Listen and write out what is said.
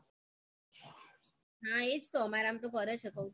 હા એ જ તો અમારામાં તો કરે છે કૌ તો છુ